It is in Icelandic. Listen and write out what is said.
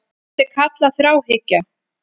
Þetta er kallað þráhyggja.